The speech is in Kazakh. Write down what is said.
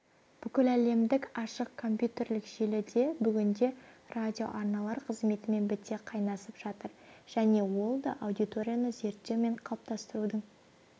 бүкіләлемдік ашық компьютерлік желі де бүгінде радиоарналар қызметімен біте қайнасып жатыр және ол да аудиторияны зерттеу мен қалыптастырудың